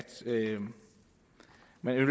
man i